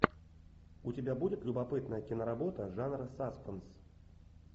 у тебя будет любопытная киноработа жанра саспенс